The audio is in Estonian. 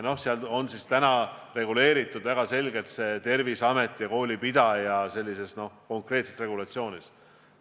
No seal on see täna reguleeritud väga selgelt Terviseameti ja koolipidaja konkreetse regulatsiooniga.